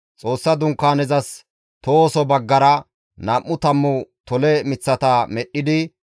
Xoossa Dunkaanezas tohoso baggara nam7u tammu tole miththata medhdhidi,